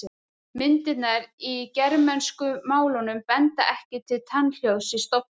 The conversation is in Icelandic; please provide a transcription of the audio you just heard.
Myndirnar í germönsku málunum benda ekki til tannhljóðs í stofni.